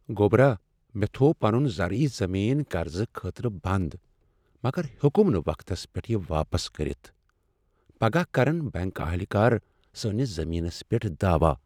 گو٘برا، مےٚ تھوو پنُن زرعی زمین قرضہٕ خٲطرٕ بند مگر ہیوکُم نہٕ وقتس پیٹھ یہِ واپس کٔرتھ ۔ پگاہ كرن بینك اہلکار سٲنِس زمیننس پیٹھ دعوا۔